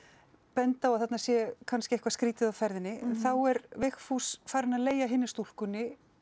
benda á að þarna sé kannski eitthvað skrítið á ferðinni þá er Vigfús farinn að leigja hinni stúlkunni